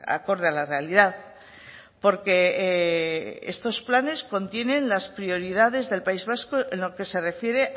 acorde a la realidad porque estos planes contienen las prioridades del país vasco en lo que se refiere